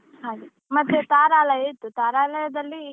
ಹಾಗೆ ಮತ್ತೆ ತಾರಾಲಯ ಇತ್ತು. ತಾರಾಲಯದಲ್ಲಿ.